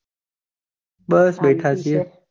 બસ બેઠા છીએ